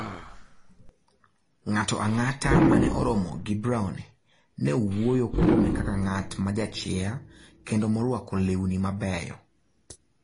Ng'ato ang'ata ma ne oromo gi Browne ne wuoyo kuome kaka ng'at ma jachia kendo morwako lewni mabeyo.